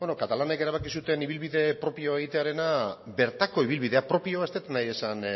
katalanek erabaki zuten ibilbide propioa egitearena bertako ibilbidea propioa ez dut nahi esan